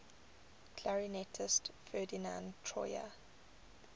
clarinetist ferdinand troyer